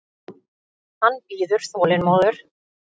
Hann bíður þolinmóður.